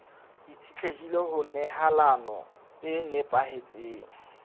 itshetlehile ho nehelano e nepahetseng